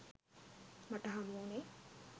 මට හමුවුණේ